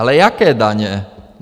Ale jaké daně?